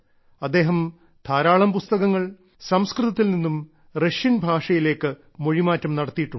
അദ്ദേഹം ധാരാളം പുസ്തകങ്ങൾ സംസ്കൃതത്തിൽ നിന്നും റഷ്യൻ ഭാഷയിലേക്കു മൊഴിമാറ്റം നടത്തിയിട്ടുണ്ട്